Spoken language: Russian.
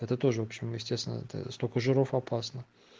это тоже в общем естественно это столько жиров опасно